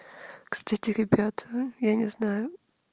кстати ребята я не знаю